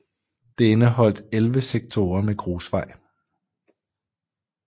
Det indeholdt 11 sektorer med grusvej